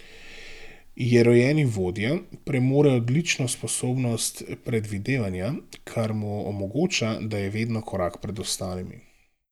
Je rojeni vodja, premore odlično sposobnost predvidevanja, kar mu omogoča, da je vedno korak pred ostalimi.